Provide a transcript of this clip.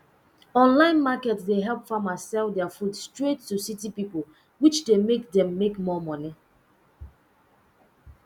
online market dey help farmers sell their food straight to city pipo which de make dem make more money